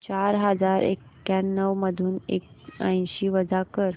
चार हजार एक्याण्णव मधून ऐंशी वजा कर